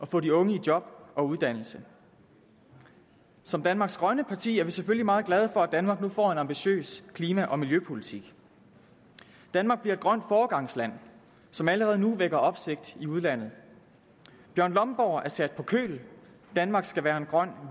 få de unge i job og uddannelse som danmarks grønne parti er vi selvfølgelig meget glade for at danmark nu får en ambitiøs klima og miljøpolitik danmark bliver et grønt foregangsland som allerede nu vækker opsigt i udlandet bjørn lomborg er sat på køl danmark skal være en grøn